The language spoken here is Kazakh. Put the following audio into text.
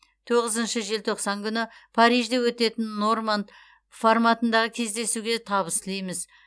тоғызыншы желтоқсан күні парижде өтетін норманд форматындағы кездесуге табыс тілейміз